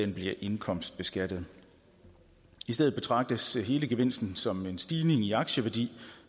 de bliver indkomstbeskattede i stedet betragtes hele gevinsten som en stigning i aktieværdi